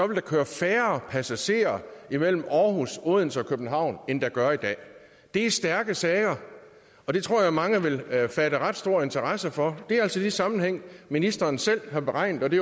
der køre færre passagerer mellem aarhus odense og københavn end der gør i dag det er stærke sager og det tror jeg at mange vil fatte ret stor interesse for det er altså en sammenhæng ministeren selv har beregnet og det